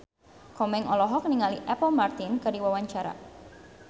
Komeng olohok ningali Apple Martin keur diwawancara